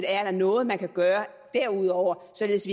er noget man kan gøre derudover således